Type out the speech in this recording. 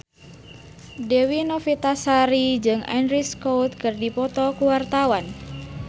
Dewi Novitasari jeung Andrew Scott keur dipoto ku wartawan